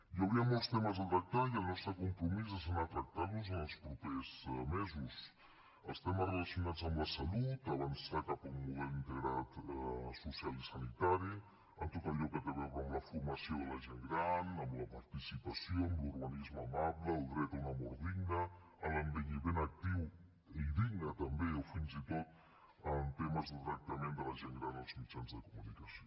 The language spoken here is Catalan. hi hauria molts temes a tractar i el nostre compromís és anar tractant los en els propers mesos els temes relacionats amb la salut avançar cap a un model integrat social i sanitari tot allò que té a veure amb la formació de la gent gran amb la participació amb l’urbanisme amable el dret a una mort digna a l’envelliment actiu i digne també o fins i tot temes de tractament de la gent gran als mitjans de comunicació